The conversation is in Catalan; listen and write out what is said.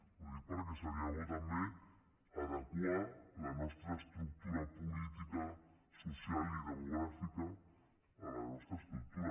ho dic perquè seria bo també adequar la nostra estructura política social i demogràfica a la nostra estructura